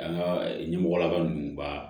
An ka ɲɛmɔgɔ la ninnu baa